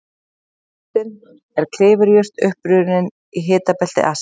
Piparjurtin er klifurjurt upprunnin í hitabelti Asíu.